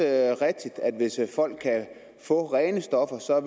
at det hvis folk kan få rene stoffer så